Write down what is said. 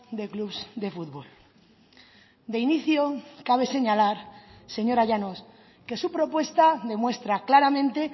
de clubs de futbol de inicio cabe señalar señora llanos que su propuesta demuestra claramente